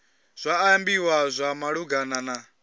zwa ambiwa zwa malugana na